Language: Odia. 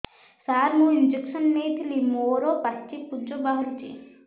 ସାର ମୁଁ ଇଂଜେକସନ ନେଇଥିଲି ମୋରୋ ପାଚି ପୂଜ ବାହାରୁଚି